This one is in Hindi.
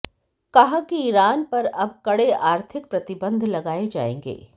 कहा कि ईरान पर अब कड़े आर्थिक प्रतिबन्ध लगाए जायेंगे